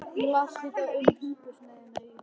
Hún las líka um hungursneyðina í